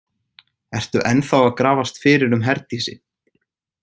Ertu ennþá að grafast fyrir um Herdísi?